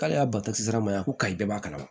K'ale y'a bato sira ma yan ko kayi bɛɛ b'a kalama